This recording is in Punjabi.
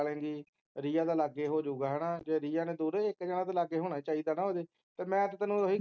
ਕਰ ਲੇਂਗੀ ਰੀਯਾ ਦਾ ਲਾਗੇ ਹੋ ਜੁਗਾ ਹੈਨਾ ਜੇ ਰੀਯਾ ਨੇ ਦੂਰ ਹੈ ਤਾਂ ਇੱਕ ਜਾਣਾ ਤਾਂ ਲਗੇ ਹੋਣਾ ਚਾਹੀਦਾ ਹੈਨਾ ਓਹਦੇ ਤੇ ਮੈਂ ਤਾ ਤੁਹਾਨੂੰ ਏਹੀ